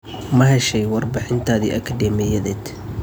Ma heshay warbixintaadii akadeemiyadeed?